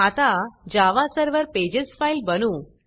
आता Java server pages file बनवू